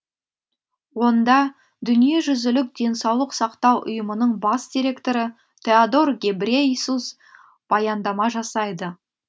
онда дүниежүзілік денсаулық сақтау ұйымының бас директоры теодор гебрейесус баяндама жасайды